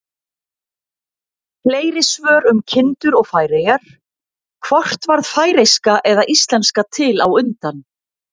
Fleiri svör um kindur og Færeyjar: Hvort varð færeyska eða íslenska til á undan?